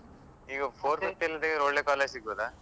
ಈಗ ಇಲ್ದೆ ಒಳ್ಳೆ college ಸಿಗ್ತದಾ?